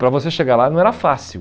Para você chegar lá não era fácil.